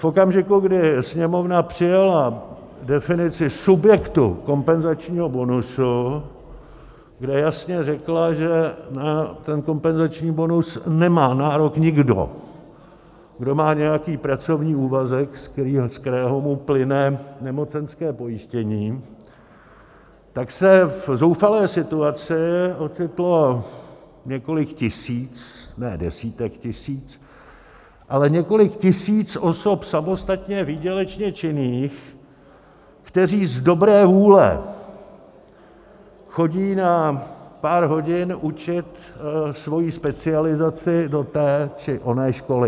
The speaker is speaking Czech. V okamžiku, kdy Sněmovna přijala definici subjektu kompenzačního bonusu, kde jasně řekla, že na ten kompenzační bonus nemá nárok nikdo, kdo má nějaký pracovní úvazek, ze kterého mu plyne nemocenské pojištění, tak se v zoufalé situaci ocitlo několik tisíc, ne desítek tisíc, ale několik tisíc osob samostatně výdělečně činných, které z dobré vůle chodí na pár hodin učit svoji specializaci do té či oné školy.